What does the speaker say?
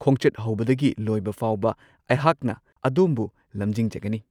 ꯈꯣꯡꯆꯠ ꯍꯧꯕꯗꯒꯤ ꯂꯣꯏꯕ ꯐꯥꯎꯕ ꯑꯩꯍꯥꯛꯅ ꯑꯗꯣꯝꯕꯨ ꯂꯝꯖꯤꯡꯖꯒꯅꯤ꯫